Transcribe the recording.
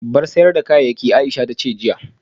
Bar sayar da kayayyaki Aisha tace jiya